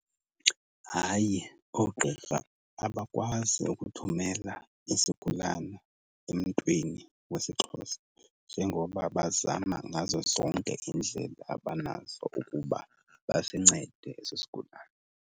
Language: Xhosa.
Hayi oogqirha abakwazi ukuthumela isigulane emntwini wesiXhosa, njengoba bazama ngazo zonke iindlela abanazo ukuba basincede eso sigulane.